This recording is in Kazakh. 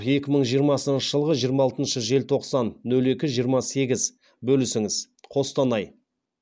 екі мың жиырмасыншы жылғы жиырма алтыншы желтоқсан нөл екі жиырма сегіз бөлісіңіз қостанай